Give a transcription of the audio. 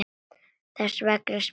Þess vegna spyr ég þig.